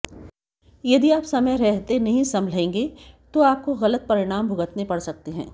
यदि आप समय रहते नहीं संभलेंगे तो आपको गलत परिणाम भुगतने पड़ सकते हैं